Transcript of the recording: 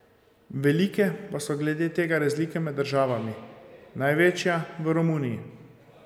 Velike pa so glede tega razlike med državami, največja v Romuniji.